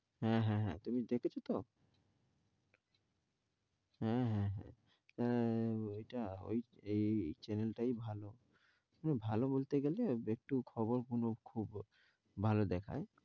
হ্যাঁ হ্যাঁ, তুমি দেখছো তো? হ্যাঁ হ্যাঁ, তা এটা য়ে এই চ্যানেল টাই ভালো। ভালো বলতে গেলে, একটু খবর খুবুর গুলো খুব ভালো দেখায়।